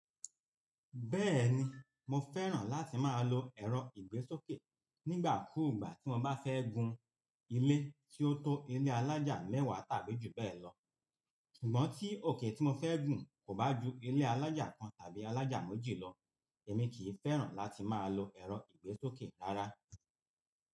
Bẹ́ẹ̀ni, mo fẹ́ràn láti máa lo ẹ̀rọ ìgbésókè nígbà kúùgbà tí mo bá fẹ́ gun ilé tí ó tó ilé alájà mẹ́wàá tàbí jù bẹ́ẹ̀ lọ. Sugbon tí òkè tí mo fẹ́ gùn kò bá ju ilé alájà kan tàbí alájà méjì lọ, èmi kì í fẹ́ràn láti máa lo ẹ̀rọ ìgbésókè rárá.